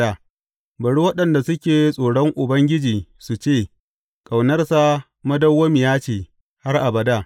Bari waɗanda suke tsoron Ubangiji su ce, Ƙaunarsa madawwamiya ce har abada.